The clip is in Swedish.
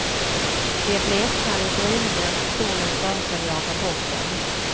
De bleknade i gryningen, solen föreföll jaga bort dem.